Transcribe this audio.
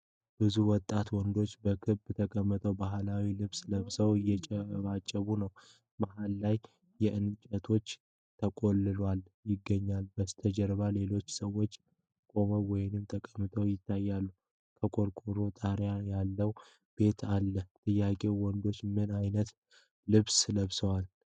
ብዙ ወጣት ወንዶች በክብ ተቀምጠው ባህላዊ ልብስ ለብሰው እያጨበጨቡ ነው። መሃል ላይ እንጨቶች ተቆልለው ይገኛሉ። በስተጀርባ ሌሎች ሰዎች ቆመው ወይም ተቀምጠው ይታያሉ፤ ከቆርቆሮ ጣሪያ ያለው ቤትም አለ። ጥያቄዎች: ወንዶቹ ምን ዓይነት ልብስ ለብሰዋል?